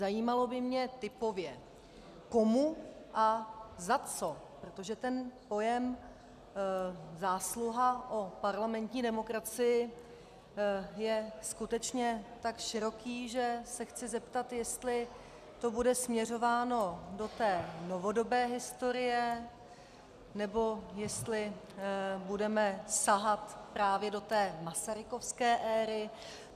Zajímalo by mě typově komu a za co, protože ten pojem "zásluha o parlamentní demokracii" je skutečně tak široký, že se chci zeptat, jestli to bude směřováno do té novodobé historie, nebo jestli budeme sahat právě do té masarykovské éry.